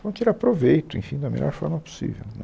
Vamos tirar proveito, enfim, da melhor forma possível né